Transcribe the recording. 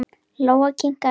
Lóa kinkaði kolli.